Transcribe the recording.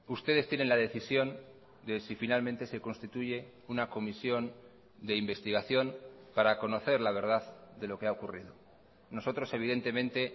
ustedes tienen la decisión de si finalmente se constituye una comisión de investigación para conocer la verdad de lo que ha ocurrido nosotros evidentemente